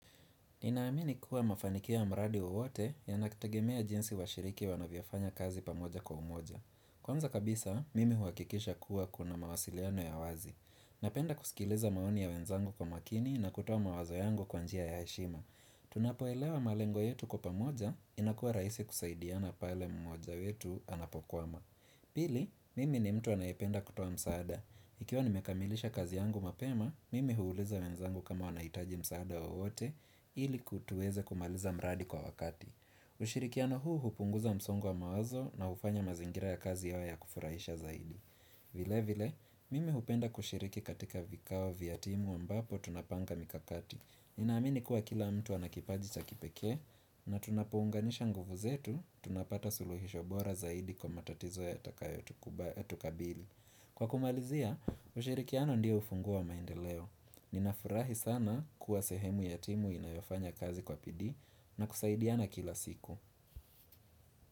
Ninaamini kuwa mafanikio ya mradi wowote yanakitegemea jinsi washiriki wanavyofanya kazi pamoja kwa umoja. Kwanza kabisa, mimi huhakikisha kuwa kuna mawasiliano ya wazi. Napenda kusikiliza maoni ya wenzangu kwa makini na kutoa mawazo yangu kwa njia ya heshima. Tunapoelewa malengo yetu kwa pamoja, inakuwa rahisi kusaidiana pale mmoja wetu anapokwama. Pili, mimi ni mtu anayependa kutoa msaada. Ikiwa nimekamilisha kazi yangu mapema, mimi huuliza wenzangu kama wanahitaji msaada wowote ili ku tuweze kumaliza mradi kwa wakati. Ushirikiano huu hupunguza msongo wa mawazo na hufanya mazingira ya kazi yawe ya kufurahisha zaidi. Vile vile, mimi hupenda kushiriki katika vikao vya timu ambapo tunapanga mikakati. Ninaamini kuwa kila mtu ana kipaji cha kipeke na tunapounganisha nguvu zetu, tunapata suluhisho bora zaidi kwa matatizo yatakayotukabili. Kwa kumalizia, ushirikiano ndio ufunguo wa maendeleo. Ninafurahi sana kuwa sehemu ya timu inayofanya kazi kwa bidii na kusaidiana kila siku.